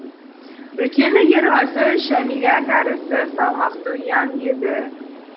үлкені ерғазы жәмила тәрізді салмақты ұяң еді